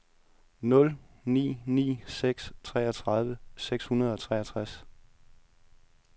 nul ni ni seks treogtredive seks hundrede og treogtres